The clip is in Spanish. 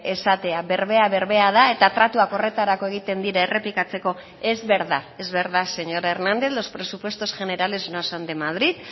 esatea berbea berbea da eta tratuak horretarako egiten dira errepikatzeko es verdad es verdad señor hernández los presupuestos generales no son de madrid